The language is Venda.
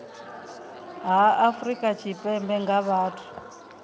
ha afrika tshipembe nga vhathu